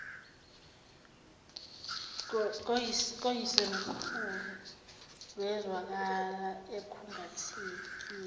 koyisemkhulu wezwakala ekhungathekile